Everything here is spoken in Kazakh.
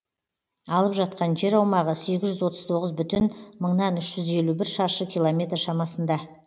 алып жатқан жер аумағы сегіз жүз отыз тоғыз бүтін мыңнан үш жүз елу бір шаршы километр шамасында